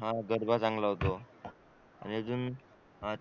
हा गरबा चांगला होतो आणि अजून